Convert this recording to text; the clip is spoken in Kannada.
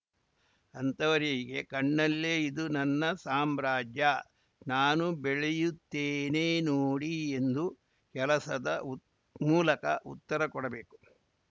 ಅಂತಹವರಿಗೆ ಕಣ್ಣಲ್ಲೇ ಇದು ನನ್ನ ಸಾಮ್ರಾಜ್ಯ ನಾನು ಬೆಳೆಯುತ್ತೇನೆ ನೋಡಿ ಎಂದು ಕೆಲಸದ ಮೂಲಕ ಉತ್ತರ ಕೊಡಬೇಕು